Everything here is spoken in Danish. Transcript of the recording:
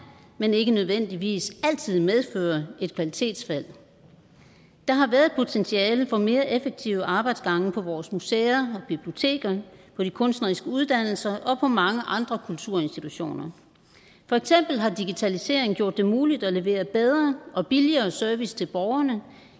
men ikke nødvendigvis altid medfører et kvalitetsfald der har været et potentiale for mere effektive arbejdsgange på vores museer biblioteker på de kunstneriske uddannelser og på mange andre kulturinstitutioner for eksempel har digitalisering gjort det muligt at levere bedre og billigere service til borgerne